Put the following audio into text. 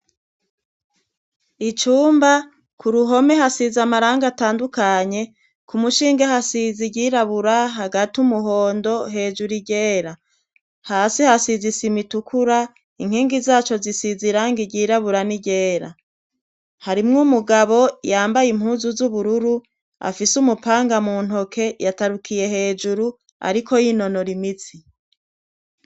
icumba ku ruhome hasizi amaranga atandukanye, ku mushinge hasizi iryirabura ,hagati umuhondo ,hejuru iryera ,hasi hasiz' isima itukura, inkingi zaco zisiz' iranga ry'irabura n'iryera ,harimwe umugabo yambaye impuzu z'ubururu ,afise umupanga mu ntoke yatarukiye hejuru ,ariko y'inonora imitsi.